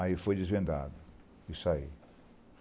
Aí foi desvendado, isso aí.